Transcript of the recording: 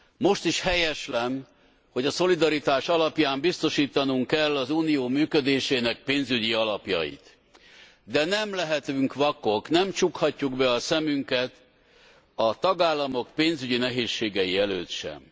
Most is helyeslem, hogy a szolidaritás alapján biztosítanunk kell az Unió működésének pénzügyi alapjait, de nem lehetünk vakok, nem csukhatjuk be a szemünket a tagállamok pénzügyi nehézségei előtt sem.